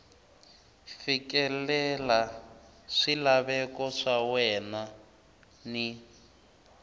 fikelela swilaveko swa wena ni